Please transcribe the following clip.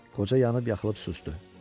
Qoca yanıb-yaxılıb susdu.